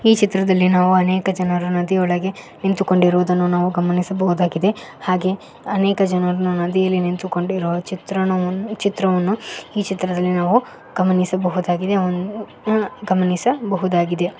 ಈ ಚಿತ್ರದಲ್ಲಿ ನಾವು ಅನೇಕ ಜನರು ನದಿಯೊಳಗೆ ನಿಂತುಕೊಂಡಿರೋದನ್ನು ನಾವು ಗಮನಿಸಬಹುದಾಗಿದೆ ಹಾಗೆ ಅನೇಕ ಜನರು ನದಿಯಲ್ಲಿ ನಿಂತುಕೊಂಡಿರುವ ಚಿತ್ರಣವನ್ನು ಚಿತ್ರವನ್ನು ಈ ಚಿತ್ರದಲ್ಲಿ ನಾವು ಗಮನಿಸಬಹುದಾಗಿದೆ ಗಮನಿಸಬಹುದಾಗಿದೆ.